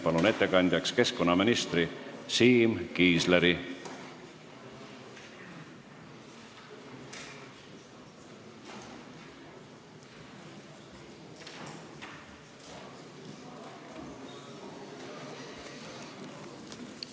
Palun ettekandeks kõnetooli keskkonnaminister Siim Kiisleri!